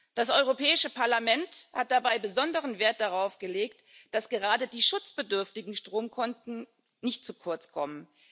Das Europäische Parlament hat dabei besonderen Wert darauf gelegt, dass gerade die schutzbedürftigen Stromkunden nicht zu kurz kommen.